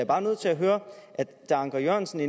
bare nødt til at høre anker jørgensen